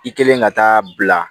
I kelen ka taa bila